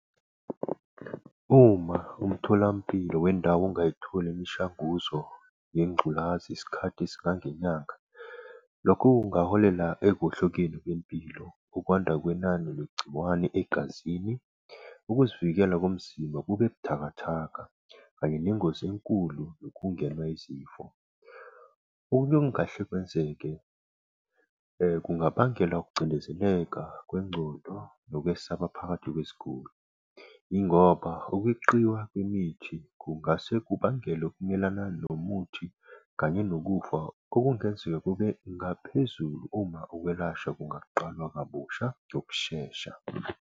Uma umtholampilo wendawo ungayitholi imishanguzo ngengculazi isikhathi esingange nyanga. Lokho kungaholela ekuwohlokeni kwempilo, ukwanda kwenani legciwane egazini, ukuzivikela komzimba kube buthakathaka kanye nengozi enkulu ukungenwa izifo. Okunye okungahle kwenzeke, kungabangela ukucindezeleka kwengcondo nokwesaba phakathi kweziguli. Yingoba ukweqiwa kwemithi kungase kubangele nomuthi kanye nokufa okungaze kube ngaphezulu uma ukwelashwa kungaqalwa kabusha ngokushesha.